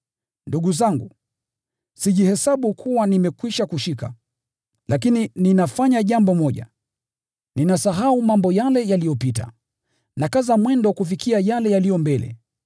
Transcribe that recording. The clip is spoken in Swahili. Ndugu zangu, sijihesabu kuwa nimekwisha kushika. Lakini ninafanya jambo moja: Ninasahau mambo yale yaliyopita, nakaza mwendo kufikia yale yaliyo mbele.